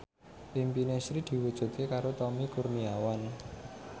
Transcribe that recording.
impine Sri diwujudke karo Tommy Kurniawan